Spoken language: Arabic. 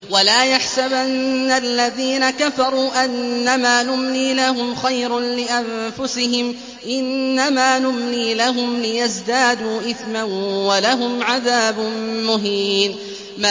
وَلَا يَحْسَبَنَّ الَّذِينَ كَفَرُوا أَنَّمَا نُمْلِي لَهُمْ خَيْرٌ لِّأَنفُسِهِمْ ۚ إِنَّمَا نُمْلِي لَهُمْ لِيَزْدَادُوا إِثْمًا ۚ وَلَهُمْ عَذَابٌ مُّهِينٌ